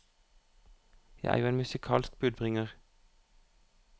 Jeg er jo en musikalsk budbringer.